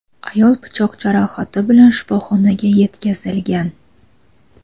ayol pichoq jarohati bilan shifoxonaga yetkazilgan.